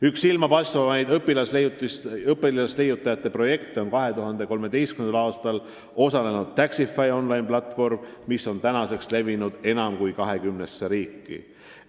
Üks silmapaistvaimaid õpilasleiutajate projekte on 2013. aastal tutvustatud Taxify on-line platvorm, mis on levinud enam kui 20 riiki.